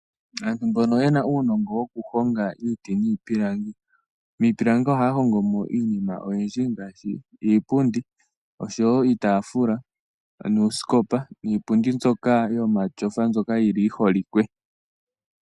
Aantu mbono yena uunongo wokuhonga iiti niipulangi ,miipilangi ohaya hongomo iinima oyindji ngashi iipundi, oshowo iitaafula ,noosikopa ,niipundi mbyoka yomatyofa ndjoka yili yiholikwe.